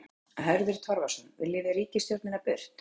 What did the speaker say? Hörður Torfason: Viljum við ríkisstjórnina burt?